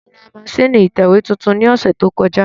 Mo ra masínìì ìtẹ̀wé tuntun ní ọ̀sẹ̀ tó kọjá